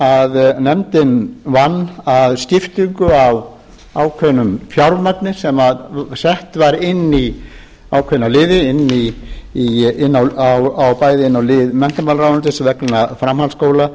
fyrir um að nefndin vann að skiptingu á ákveðnu fjármagni sem sett var inn í ákveðna liði inn á bæði lið menntamálaráðuneytis vegna framhaldsskóla